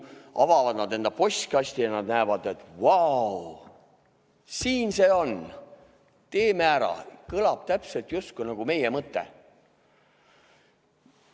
Nad avavad enda postkasti ja näevad, et vau!, siin see on, teeme ära, kõlab täpselt justkui meie mõte.